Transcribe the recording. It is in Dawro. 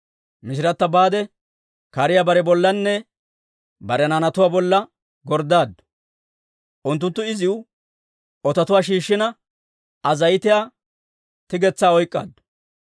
Mishirata baade, kariyaa bare bollanne bare naanatuwaa bolla gorddaaddu. Unttunttu iziw ototuwaa shiishshina, Aa zayitiyaa tigetsaa oyk'k'aaddu.